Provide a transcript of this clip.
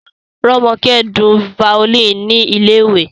Romoke dùn violin ni ilé-ìwé